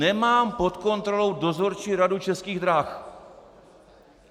Nemám pod kontrolou Dozorčí radu Českých drah.